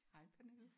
Hej Pernille